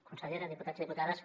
consellera diputats i diputades